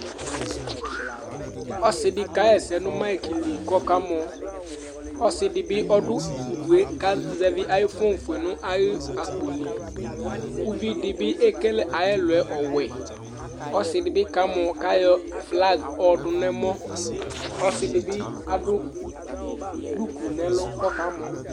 Ɔsiɖi kayɛsɛ ŋu mic li kʋ ɔka mɔ Ɔsiɖi bi ɖu ʋɖue kʋ ɔka zɛvi ayʋ phone fʋe ŋu ayʋ akpoli Uvìɖí bi ekele ayʋ ɛluɛ ɔwɛ Ɔsiɖi bi kamɔ kʋ aɣɔ flag kʋ aɣɔɖu ŋu ɛmɔ Ɔsiɖi bi aɖu dukʋ ŋu ɛmɔ kʋ ɔkamɔ